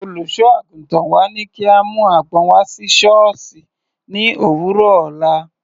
Olùṣọ́-àgùntàn wa ní kí a mú àgbọn wá sí sọ́ọ̀sì ní òwúrọ̀ ọ̀la.